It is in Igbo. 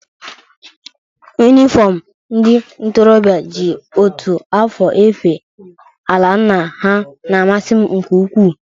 Yunifọmụ ndị ntorobịa ji otu afọ efe ala nna ha na-amasị m nke ukwu.